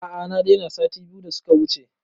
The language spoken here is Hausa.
A a na daina sati biyu da suka wuce